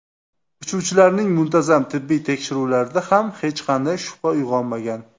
Uchuvchilarning muntazam tibbiy tekshiruvlarida ham hech qanday shubha uyg‘onmagan.